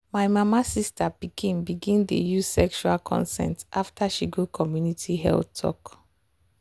my mama sister pikin begin dey use sexual consent after she go community health health talk.